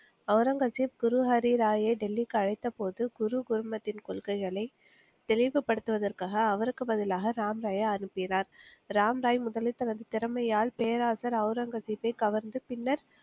ஒளரங்கசீப் குருஹரிராயை டெல்லிக்கு அழைத்தபோது குரு கோர்மத்தின் கொள்கைகளை தெளிவுபடுத்துவதற்காக அவருக்கு பதிலாக ராம்ராயை அனுப்பினார். ராம்ராய் முதலில் தனது திறமையால் பேரரசர் ஒளரங்கசீப்பை கவர்ந்து பின்னர்